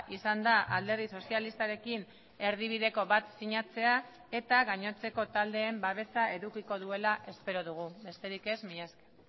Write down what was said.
izan da alderdi sozialistarekin erdibideko bat sinatzea eta gainontzeko taldeen babesa edukiko duela espero dugu besterik ez mila esker